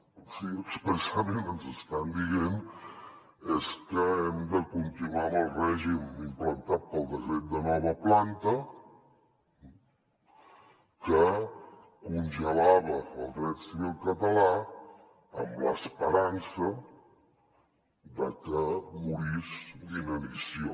o sigui expressament ens estan dient és que hem de continuar amb el règim implantat pel decret de nova planta que congelava el dret civil català amb l’esperança que morís d’inanició